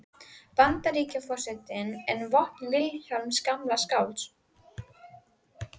Antóníusar sem munkar efstu gráðu játast.